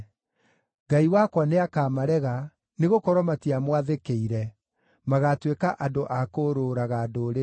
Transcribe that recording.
Ngai wakwa nĩakamarega, nĩgũkorwo matiamwathĩkĩire; magaatuĩka andũ a kũũrũũraga ndũrĩrĩ-inĩ.